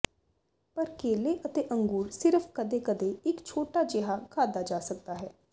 ਪਰ ਕੇਲੇ ਅਤੇ ਅੰਗੂਰ ਸਿਰਫ ਕਦੇ ਕਦੇ ਇੱਕ ਛੋਟਾ ਜਿਹਾ ਖਾਧਾ ਜਾ ਸਕਦਾ ਹੈ